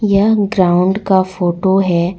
यह ग्राउंड का फोटो है।